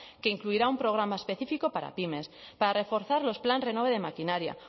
que incluirá un programa específico para pymes para reforzar los plan renove de maquinaria